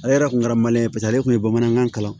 Ale yɛrɛ kun kɛra maliyɛn ye paseke ale kun ye bamanankan kalan